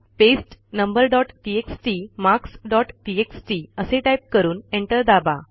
paste number dot TXT marks dot TXT असे type करून enter दाबा